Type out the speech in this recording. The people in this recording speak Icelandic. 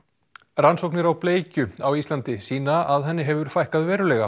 rannsóknir á bleikju á Íslandi sýna að henni hefur fækkað verulega